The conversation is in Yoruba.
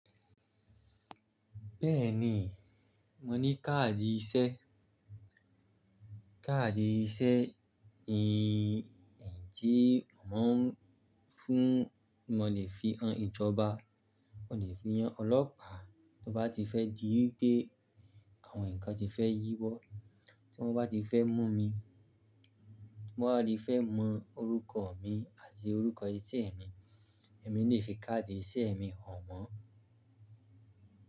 Bẹ́ẹ̀ni, mo ní káàdì iṣẹ́. Káàdì iṣẹ́ ni ẹ̀rí tí wọn ń fún, mo lè fi han ìjọba, mo lè fi han ọlọ́pàá. To bá ti fẹ́ dìí wipé àwọn nnkan ti fẹ́ yíwọ, tí wọ́n bá ti fẹ́ mú mi, tí wọ́n bá ti fẹ́ mọ orúkọ mi àti orúkọ iṣẹ́ mi, èmi lè fi káàdì iṣẹ́ mi hàn wọ́n.